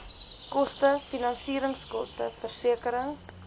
koste finansieringskoste versekering